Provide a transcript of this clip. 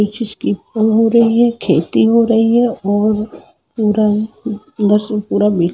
पल हो रही है खेती हो रही है और पुरा ।